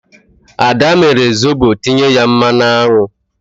Ad mere Zobo tinye ya mmanụ aṅụ.